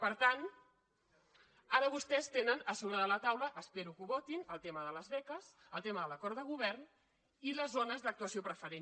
per tant ara vostès tenen a sobre de la taula espero que ho votin el tema de les beques el tema de l’acord de govern i les zones d’actuació preferent